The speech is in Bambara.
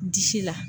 Disi la